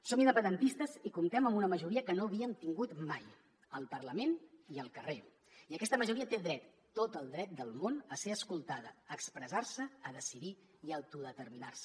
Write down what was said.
som independentistes i comptem amb una majoria que no havíem tingut mai al parlament i al carrer i aquesta majoria té dret tot el dret del món a ser escoltada a expressar se a decidir i a autodeterminar se